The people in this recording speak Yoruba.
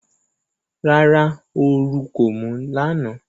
Rárá, oru kò mú lánàá.